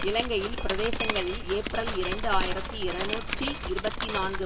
இலங்கையில் பிரதேசங்களில் ஏப்பிரல் இரண்டு ஆயிரத்தி இருநூற்றி இருபத்தி நான்கு